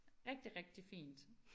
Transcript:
Rigtig rigtig fint